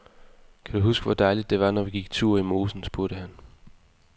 Kan du huske, hvor dejligt det var, når vi gik tur i mosen, spurgte han.